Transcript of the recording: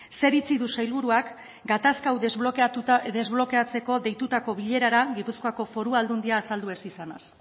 zein iritzi du sailburuak gatazka hau desblokeatzeko deitutako bilerara gipuzkoako foru aldundia azaldu ez izanaz